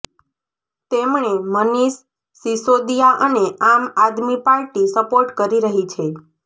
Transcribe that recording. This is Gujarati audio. તેમણે મનીષ સિસોદીયા અને આમ આદમી પાર્ટી સપોર્ટ કરી રહી છે